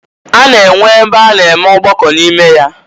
A na-enwe ebe a na-enwe ọgbakọ n'ime ya.